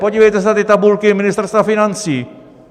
Podívejte se na ty tabulky Ministerstva financí!